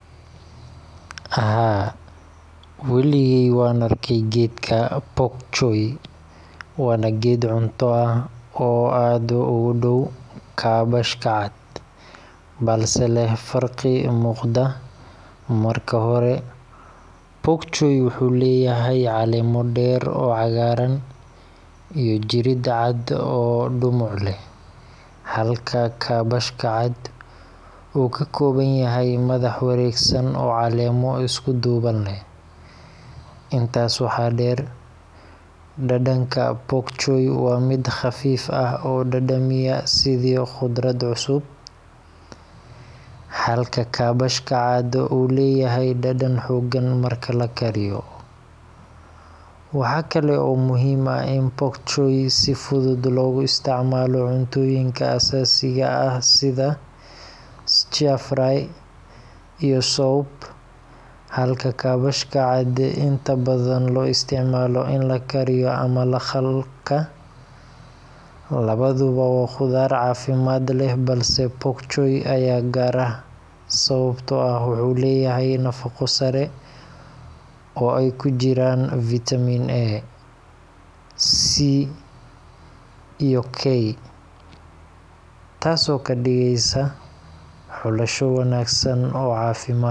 Haa, weligay waan arkay geedka pok choi, waana geed cunto ah oo aad ugu dhow kaabashka cad, balse leh farqi muuqda. Marka hore, pok choi wuxuu leeyahay caleemo dheer oo cagaaran iyo jirid cad oo dhumuc leh, halka kaabashka cad uu ka kooban yahay madax wareegsan oo caleemo isku duuban leh. Intaas waxaa dheer, dhadhanka pok choi waa mid khafiif ah oo dhadhamiya sidii khudrad cusub, halka kaabashka cad uu leeyahay dhadhan xooggan marka la kariyo. Waxaa kale oo muhiim ah in pok choi si fudud loogu isticmaalo cuntooyinka Aasiyaanka ah sida stir-fry iyo soup, halka kaabashka cad inta badan loo isticmaalo in la kariyo ama la khalka. Labaduba waa khudaar caafimaad leh, balse pok choi ayaa gaar ah sababtoo ah wuxuu leeyahay nafaqo sare oo ay ku jiraan vitamin A, C, K, taasoo ka dhigaysa xulasho wanaagsan oo caafimaad.